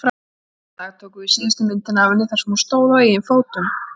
Þennan dag tókum við síðustu myndina af henni þar sem hún stóð á eigin fótum.